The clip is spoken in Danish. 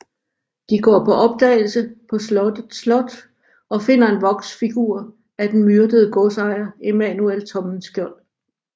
De går på opdagelse på slottet slot og finder en voksfigur af den myrdede godsejer Emanuel Tommenskjold